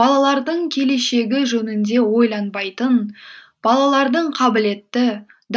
балалардың келешегі жөнінде ойланбайтын балалардың қабілетті